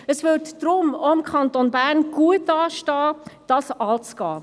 Deshalb stünde es auch dem Kanton Bern gut an, eine Deckelung anzugehen.